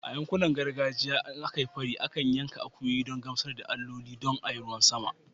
A yankunan gargajiya, idan aka yi fari, ana yanka akuyoyi don gamsar da alloli don ruwan sama